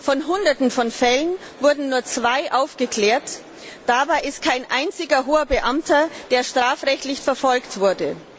Von hunderten von Fällen wurden nur zwei aufgeklärt, darunter befindet sich kein einziger hoher Beamter, der strafrechtlich verfolgt wurde.